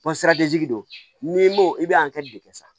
don ni i bɛ de kɛ sa